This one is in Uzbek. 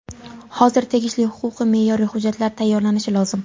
Hozir tegishli huquqiy-me’yoriy hujjatlar tayyorlanishi lozim.